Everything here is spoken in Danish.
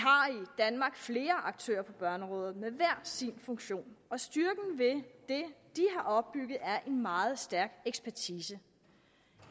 danmark flere aktører på børneområdet med hver sin funktion og styrken ved det de har opbygget er en meget stærk ekspertise